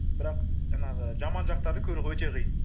бірақ жаңағы жаман жақтарды көру өте қиын